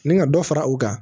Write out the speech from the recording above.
Ni ka dɔ fara u kan